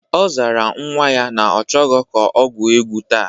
Ọ sara nwa ya na ọ chọghọ ka o gwuo egwu taa.